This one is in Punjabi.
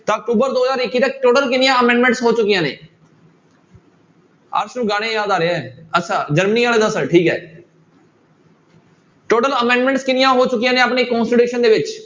ਤਾਂ ਅਕਤੂਬਰ ਦੋ ਹਜ਼ਾਰ ਇੱਕੀ ਤੱਕ total ਕਿੰਨੀਆਂ amendments ਹੋ ਚੁੱਕੀਆਂ ਨੇ ਅਰਸ ਨੂੰ ਗਾਣੇ ਯਾਦ ਆ ਰਹੇ ਹੈ ਅੱਛਾ ਜਰਮਨੀ ਵਾਲਾ ਠੀਕ ਹੈ total amendments ਕਿੰਨੀਆਂ ਹੋ ਚੁੱਕੀਆਂ ਨੇ ਆਪਣੀ constitution ਦੇ ਵਿੱਚ